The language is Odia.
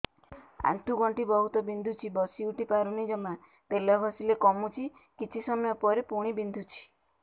ଆଣ୍ଠୁଗଣ୍ଠି ବହୁତ ବିନ୍ଧୁଛି ବସିଉଠି ପାରୁନି ଜମା ତେଲ ଘଷିଲେ କମୁଛି କିଛି ସମୟ ପରେ ପୁଣି ବିନ୍ଧୁଛି